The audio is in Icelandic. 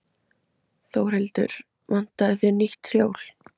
Þórhildur: Vantaði þig nýtt hjól?